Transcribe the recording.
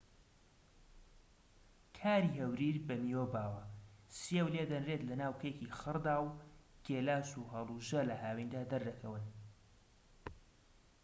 کاری هەوریر بە میوە باوە سێو لێدەنرێت لەناو کێکی خڕدا و گێلاس و هەڵوژە لە هاویندا دەردەکەون